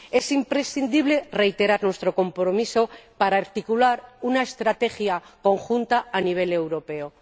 Es imprescindible reiterar nuestro compromiso para articular una estrategia conjunta a nivel europeo.